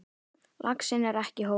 Laxinn er ekki hópsál.